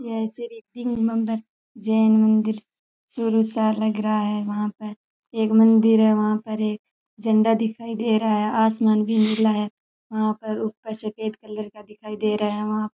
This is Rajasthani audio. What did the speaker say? जैन मंदिर चुरू सा लग रहा है वहां पर एक मंदिर है वहां पर एक झंडा दिखाई दे रहा है आसमान भी नीला है वहां पर ऊपर सफेद कलर का दिखाई दे रहा है वहां --